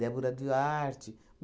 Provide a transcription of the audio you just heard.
Débora Duarte.